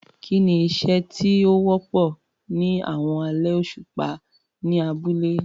Kí ni iṣẹ́ tí ó wọ́pọ̀ ní àwọn alẹ́ òṣùpá ní abúlé?